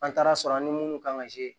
An taara sɔrɔ an ni munnu kan ka